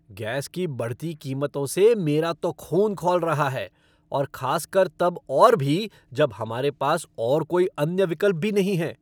Gas की बढ़ती कीमतों से मेरा तो ख़ून खौल रहा है और खास कर तब और भी जब हमारे पास और कोई अन्य विकल्प भी नहीं है।